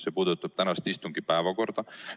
See puudutab istungite päevakorda.